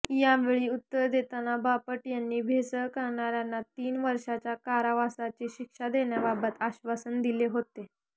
यावेळी उत्तर देताना बापट यांनी भेसळ करणाऱ्यांना तीन वर्षांच्या कारावासाची शिक्षा देण्याबाबत अश्वासन दिले होते